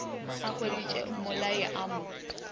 a hweditše mmolai a mo